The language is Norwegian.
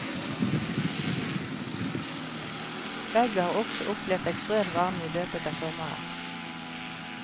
Begge har også opplevd ekstrem varme i løpet av sommeren.